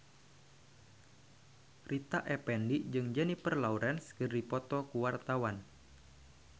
Rita Effendy jeung Jennifer Lawrence keur dipoto ku wartawan